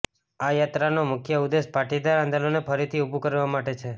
આ યાત્રાનો મુખ્ય ઉદ્દેશ પાટીદાર આંદોલનને ફરીથી ઉભુ કરવા માટે છે